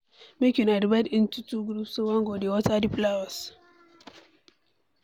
Make una divide into two Group so dat one go dey water the flowers.